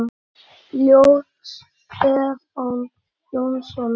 Ljóð: Stefán Jónsson